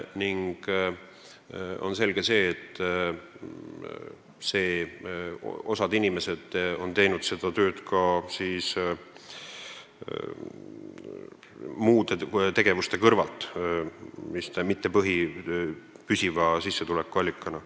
Selge on see, et osa inimesi teeb seda tööd muude tegevuste kõrvalt, mitte põhitööna ehk püsiva sissetuleku allikana.